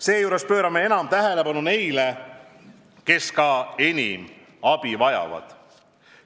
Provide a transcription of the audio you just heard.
Seejuures pöörame enam tähelepanu neile, kes ka enam abi vajavad.